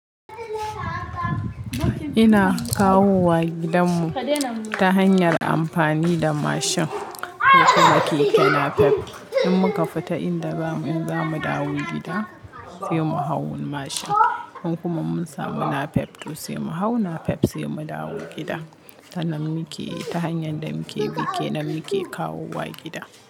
Ina kawowa gidanmu ta hanyar amfani da mashin kokuma keke napep. In muka fita in da zamu, in zamu dawo gida sai mu hau mashin. In kuma mun samu na pep to sai mu hau na pep sai mu dawo gida. Tana muke, ta hanyar da muke bi, ke namu yake kawowa gida.